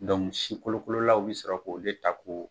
Dɔnku si kolokololaw be sɔrɔ k'o de ta ko